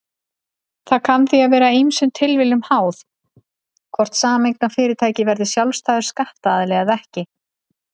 Það kann því að vera ýmsum tilviljunum háð hvort sameignarfyrirtæki verður sjálfstæður skattaðili eða ekki.